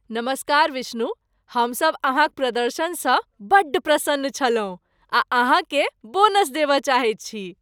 नमस्कार विष्णु, हमसभ अहाँक प्रदर्शनसँ बड्ड प्रसन्न छलहुँ आ अहाँकेँ बोनस देबय चाहैत छी।